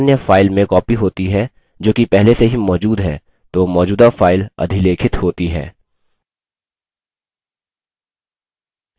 हमने देखा यदि file अन्य file में copied होती है जो कि पहले से ही मौजूद है तो मौजूदा file अधिलेखित होती है